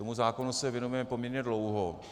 Tomu zákonu se věnujeme poměrně dlouho.